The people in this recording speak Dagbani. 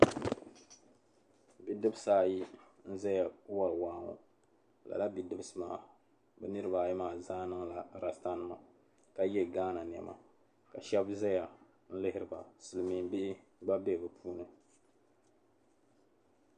Bidibisi ayi n-zaya wari waa ŋɔ lala bidibisi maa bɛ niriba ayi maa zaa niŋla lasitanima ka ye gaana nɛma ka shɛba zaya n-lihiri ba silimiin' bihi gba be bɛ puuni.